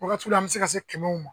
Wagatiw la an be se ka se kɛmɛw ma.